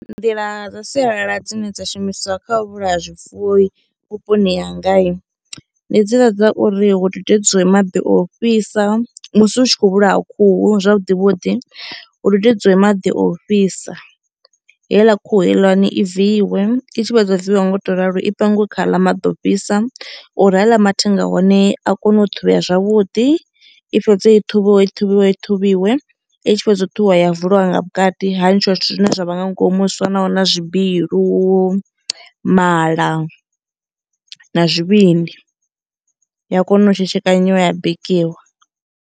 Nḓila dza sialala dzine dza shumiswa kha u vhulaya zwifuwo i vhuponi hangai ndi he dziḽa dza uri hu dudedziwe maḓi o u fhisa. Musi u tshi khou vhulaya khuhu zwavhuḓi vhuḓi hu hududedziwe maḓi ofhisa heiḽa khuhu heiḽani i viiwe i tshi fhedza u viwa nga u to ralo i pangiwe kha ha ḽa maḓi ofhisa uri haḽa mathenga a hone a kone u ṱhuvhea zwavhuḓi, i fhedze i ṱhuvhiwe i ṱhuvhiwe ṱhuvhiwe i tshi fhela u ṱhuvhiwa ya vuliwa nga vhukati ha ntshiwa zwithu zwine zwa vha nga ngomu zwi fanaho na zwibilu, mala na zwivhindi ya kona u tshetshekana dzhiiwa ya bikiwa.